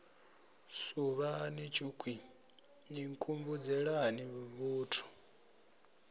suvhani tshukhwii ni nkhumbudzelani vhuthu